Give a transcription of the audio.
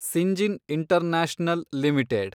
Syngene International limited